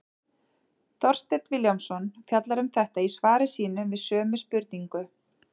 Þorsteinn Vilhjálmsson fjallar um þetta í svari sínu við sömu spurningu.